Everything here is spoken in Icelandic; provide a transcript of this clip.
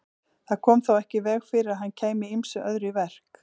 Það kom þó ekki í veg fyrir að hann kæmi ýmsu öðru í verk.